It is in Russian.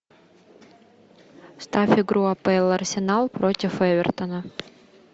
ставь игру апл арсенал против эвертона